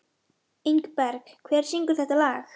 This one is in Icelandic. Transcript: Ingberg, hver syngur þetta lag?